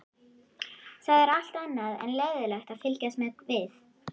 Það er allt annað en leiðinlegt að fylgjast með við